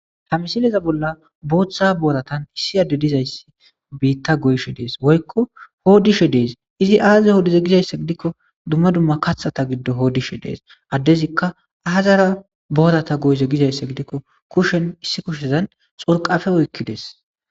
Hamisileza bolla booththa booratan issi adde dizayssi biitta go7she dees woykko hoodishe dees izi aazaze hoodize gizayssa gidikko dumma dumma kathata giddo hoodishe dees addezikka ahazara boorata goyze gizayssa gidikko kushen issi kushezan xorqafe oykkides